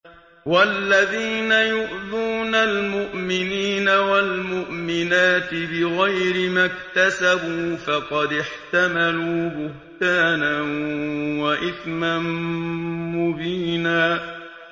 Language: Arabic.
وَالَّذِينَ يُؤْذُونَ الْمُؤْمِنِينَ وَالْمُؤْمِنَاتِ بِغَيْرِ مَا اكْتَسَبُوا فَقَدِ احْتَمَلُوا بُهْتَانًا وَإِثْمًا مُّبِينًا